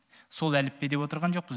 сол әліппе деп отырған жоқпыз